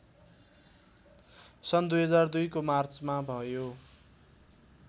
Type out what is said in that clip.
सन् २००२ को मार्चमा भयो